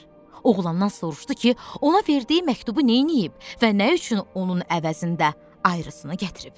Oğlandan soruşdu ki, ona verdiyi məktubu neyləyib və nə üçün onun əvəzində ayrısını gətirib?